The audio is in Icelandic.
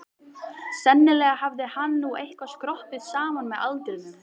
Sennilega hafði hann nú eitthvað skroppið saman með aldrinum.